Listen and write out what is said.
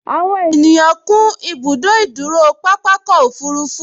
Àwọn ènìyàn kún ibùdó ìdúró pápákọ̀ òfurufú